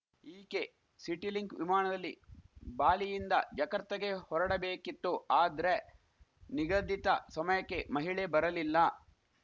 ಈಕೆ ಸಿಟಿಲಿಂಕ್‌ ವಿಮಾಣದಲ್ಲಿ ಬಾಲಿಯಿಂದ ಜಕರ್ತಾಗೆ ಹೊರಡಬೇಕಿತ್ತು ಆದ್ರೆ ನಿಗದಿತ ಸಮಯಕ್ಕೆ ಮಹಿಳೆ ಬರಲಿಲ್ಲ